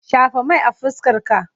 Shafa mai a fuskarka!